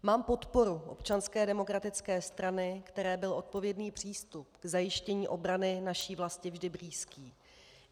Mám podporu Občanské demokratické strany, které byl odpovědný přístup k zajištění obrany naší vlasti vždy blízký.